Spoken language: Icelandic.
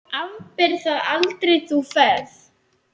Afber það aldrei, þú ferð.